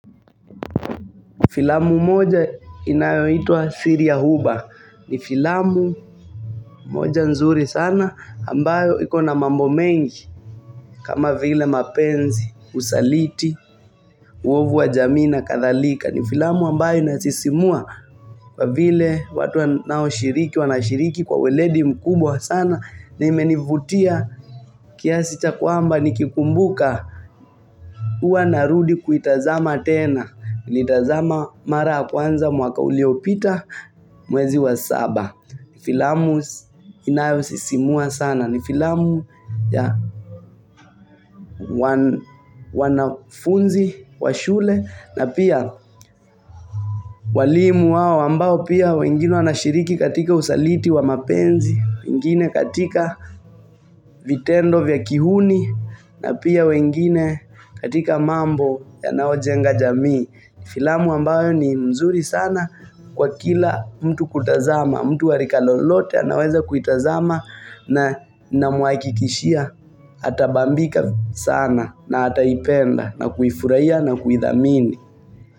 Filamu moja inayoitwa siri ya Huba ni filamu moja nzuri sana ambayo iko na mambo mengi kama vile mapenzi, usaliti, uovu wa jamii na kathalika. Ni filamu ambayo inasisimua kwa vile watu wanaoshiriki wanashiriki kwa ueledi mkubwa sana na imenivutia kiasi cha kwamba nikikumbuka huwa narudi kuitazama tena Nitazama mara ya kwanza mwaka uliopita Mwezi wa saba ni filamu inayosisimua sana ni filamu ya wanafunzi wa shule na pia walimu wao ambao pia wengine wanashiriki katika usaliti wa mapenzi, wengine katika vitendo vya kihuni na pia wengine katika mambo yanayojenga jamii. Filamu ambayo ni mzuri sana kwa kila mtu kutazama, mtu wa rika lolote anaweza kuitazama namhakikishia atabambika sana na ataipenda na kuifurahia na kuithamini.